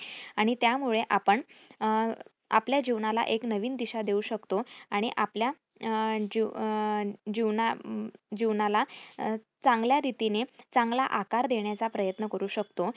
आणि त्यामुळे आपण अं आपल्या जीवनाला एक नवीन दिशा देऊ शकतो. आणि आपल्या अं जीव जीवना जीवनाला चांगल्या रितीने चांगला आकार देण्याचा प्रयत्न करू शकतो.